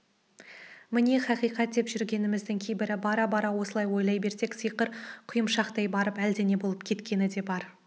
міне хақиқат деп жүргеніміздің кейбірі бара-бара осылай ойлай берсек сиыр құйымшақтап барып әлдене болып кеткені де бар